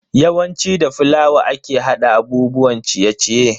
Yawanci da fulawa ake hada abubuwan ciye-ciye.